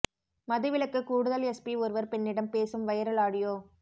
மது விலக்கு கூடுதல் எஸ்பி ஒருவர் பெண்ணிடம் பேசும் வைரல் ஆடியோ